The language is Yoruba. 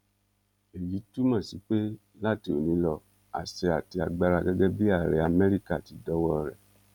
èyí túmọ sí pé láti ọni lo àṣẹ àti agbára gẹgẹ bíi ààrẹ amẹríkà ti dọwọ rẹ